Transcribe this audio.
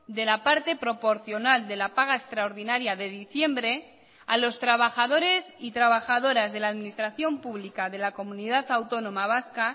de la parte proporcional de la paga extraordinaria de diciembre a los trabajadores y trabajadoras de la administración pública de la comunidad autónoma vasca